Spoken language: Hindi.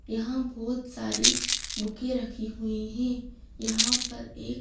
यहां बहोत सारी बुके रखी हुई है। यहां पर एक--